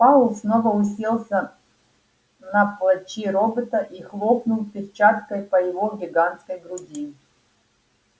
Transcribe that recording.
пауэлл снова уселся на плачи робота и хлопнул перчаткой по его гигантской груди